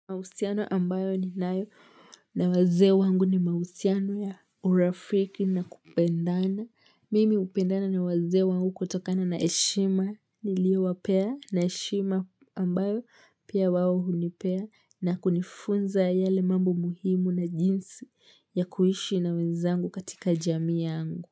Mausiano ambayo ni nayo na waze wangu ni mausiano ya urafiki na kupendana. Mimi upendana ni waze wangu kutokana na heshima niliowapea na heshima ambayo pia wawo hunipea na kunifunza yale mambo muhimu na jinsi ya kuhishi na wenzangu katika jami yangu.